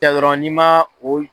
Kɛ dɔrɔn ni ma o y'i.